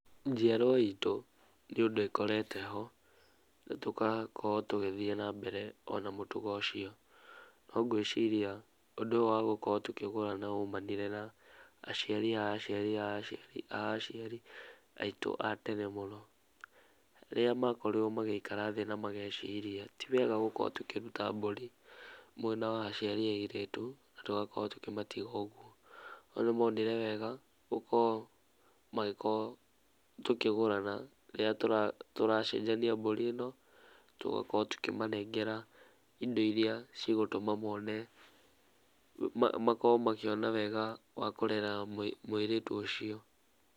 Njiarwa itũ nĩ ũndũ ĩkorete ho, na tũgakorwo tũgĩthiĩ na mbere o na mũtugo ũcio, no ngwĩciria, ũndũ ũyũ wa gũkorwo tũkĩgũrana waumanire na aciari a aciari a aciari a aciari aitũ a tene mũno, rĩrĩa makorirwo magĩikara thĩ na magĩciria ti wega gũkorwo tũkĩruta mbũri mwena wa aciari a airĩtu na tũgakorwo tũkĩmatiga ũguo, no nĩ monire wega gũko magĩko tũkĩgũrana, rĩrĩa tũracenjania mbũri ĩno, tũgakorwo tũkĩmanengera indo iria cigũtũma mone, makorwo makĩona wega wa kũrera mũirĩtu ũcio.